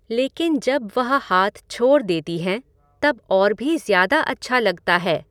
लेकिन जब वह हाथ छोड़ देती हैं तब और भी ज़्यादा अच्छा लगता है।